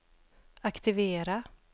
aktivera